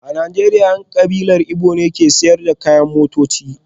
A Najeriya, 'yan kabilar Igbo ne ke sayar da kayayyakin motoci